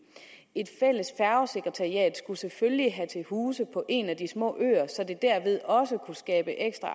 et fælles færgesekretariat skulle selvfølgelig have til huse på en af de små øer så det derved også kunne skabe ekstra